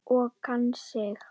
Og kann sig.